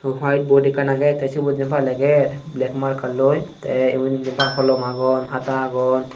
white bod ekkan agey te sibot jiyenpai leger black markar loi te igun jiyenpai holom agon hata agon.